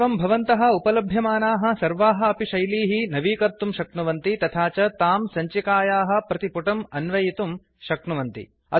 एवं भवन्तः उपलभ्यमानाः सर्वाः अपि शैलीः नवीकर्तुं शक्नुवन्ति तथा च तां सञ्चिकायाः प्रतिपुटम् अन्वयितुं शक्नुवन्ति